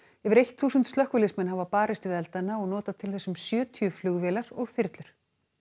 yfir eitt þúsund slökkviliðsmenn hafa barist við eldana og notað til þess um sjötíu flugvélar og þyrlur